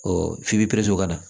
Ɔ f'i bɛ prɛnsi kɔnɔ ka na